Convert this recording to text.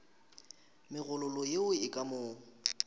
megololo yeo e ka mo